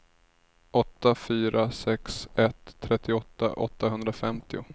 åtta fyra sex ett trettioåtta åttahundrafemtio